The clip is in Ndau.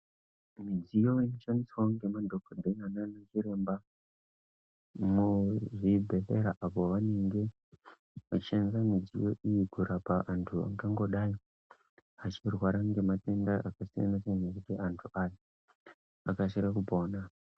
Midziyo inoshandiswawo ngemadhokodheya nanachiremba muzvibhedhlera apo vanenge veishandisa mudziyo iyi kurapa antu angangodai achirwara ngematenda akasiyana siyana kuti antu ayaa akasire kupona.